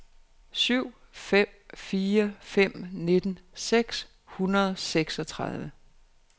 syv fem fire fem nitten seks hundrede og seksogtredive